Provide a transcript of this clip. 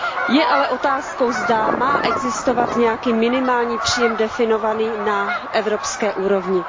Je ale otázkou, zda má existovat nějaký minimální příjem definovaný na evropské úrovni.